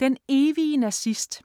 Den evige nazist